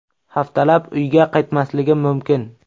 Haftalab uyga qaytmasligim mumkin.